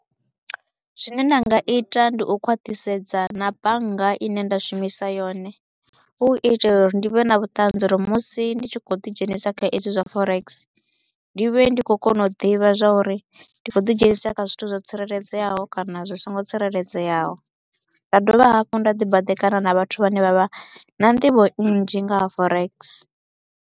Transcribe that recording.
Zwine nda nga ita ndi u khwathisedza na bannga i ne nda shumisa yone, hu itela uri ndi vhe na vhuṱanzi uri musi ndi tshi kho u ḓi dzhenisa kha ezwi zwa forex ndi vhe ndi kho u kona u ḓivha zwa uri ndi kho u ḓi dzhenisa kha zwithu zwo tsireledzeaho kana zwi so ngo tsireledzeaho. Nda dovha hafhu nda ḓi baḓekana na vhathu vhane vha vha na nḓivho nnzhi nga ha forex.